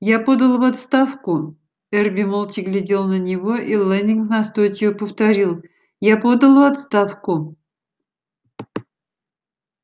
я подал в отставку эрби молча глядел на него и лэннинг настойчиво повторил я подал в отставку